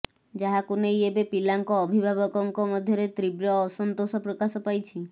ଯାହାକୁ ନେଇ ଏବେ ପିଲାଙ୍କ ଅଭିଭାବକଙ୍କ ମଧ୍ୟରେ ତୀବ୍ର ଅସନ୍ତୋଷ ପ୍ରକାଶ ପାଇଛି